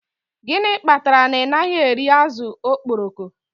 Gịnị kpatara na ị naghị eri azụ̀ okporoko